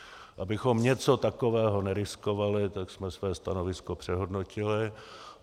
Abychom něco takového neriskovali, tak jsme své stanovisko přehodnotili.